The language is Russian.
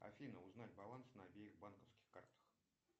афина узнай баланс на обеих банковских картах